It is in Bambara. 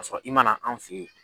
Ka sɔrɔ i man na anw fɛ ye.